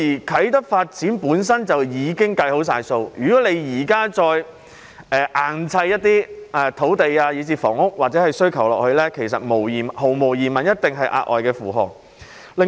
啟德發展本身已經作好計劃，如果現時硬要再額外加上一些土地以至房屋需求，這些毫無疑問一定是額外的負荷。